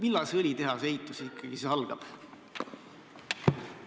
Millal see õlitehase ehitus ikkagi algab?